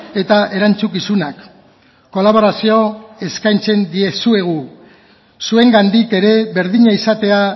eta erantzukizunak kolaborazio eskaintzen dizuegu zuengandik ere berdina izatea